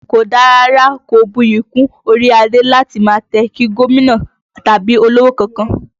Kò dára rárá, kò buyì kún orí adé láti máa tẹ̀ kí gómìnà tàbí olówò kankan